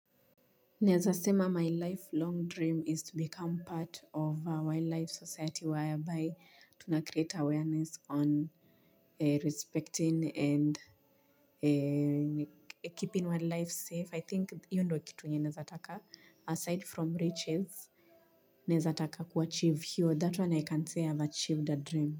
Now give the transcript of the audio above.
Naezasema my lifelong dream is to become part of a wildlife society whereby tuna create awareness on respecting and keeping wildlife safe. I think hiyo ndio kitu yenye naezataka. Aside from riches, nazataka kuachive hiyo. That one I can say I've achieved a dream.